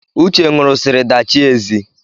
Uche ṅụrụsiri dachie ezi